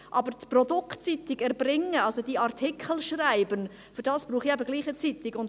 Um aber das Produkt Zeitung zu erbringen, also um die Artikel zu schreiben, dafür brauche ich trotzdem eine Zeitung.